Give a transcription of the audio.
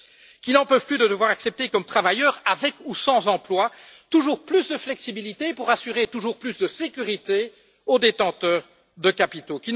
qui n'en peuvent plus de devoir accepter comme travailleurs, avec ou sans emploi, toujours plus de flexibilité pour assurer toujours plus de sécurité aux détenteurs de capitaux